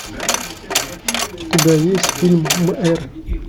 у тебя есть фильм мэр